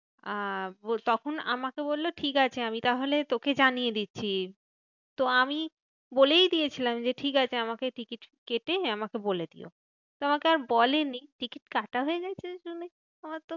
আহ তখন আমাকে বললো ঠিকাছে আমি তাহলে তোকে জানিয়ে দিচ্ছি। তো আমি বলেই দিয়েছিলাম যে ঠিকাছে আমাকে টিকিট কেটে আমাকে বলে দিও। তো আমাকে আর বলেনি টিকিট কাটা হয়ে গেছে তো আমি আমার তো